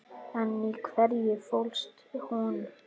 En í hverju fólst hún?